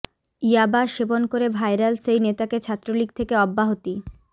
ইয়াবা সেবন করে ভাইরাল সেই নেতাকে ছাত্রলীগ থেকে অব্যাহতি